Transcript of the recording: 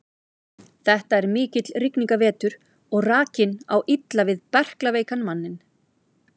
Þetta er mikill rigningarvetur og rakinn á illa við berklaveikan manninn.